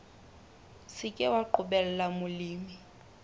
se ke wa qobella molemi